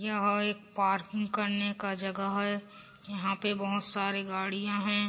यहाँ एक पार्किंग करने का जगह है यहाँ पे बहोत सारे गाड़ियां है।